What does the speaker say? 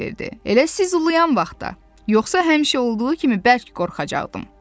Elə siz ulayan vaxtda, yoxsa həmişə olduğu kimi bərk qorxacaqdım.